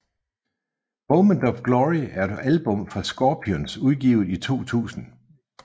Moment of Glory er et album fra Scorpions udgivet i 2000